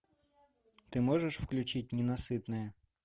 ты можешь включить ненасытная